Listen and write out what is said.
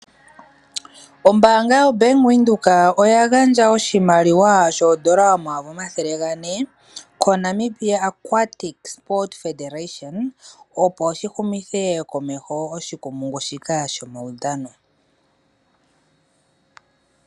Ombaanga yoBank Windhoek oya gandja oshimaliwa shoondola 4000 koNamibia Aquatic Support Federation opo shi humithe komeho oshikumpungu shika shomawudhano.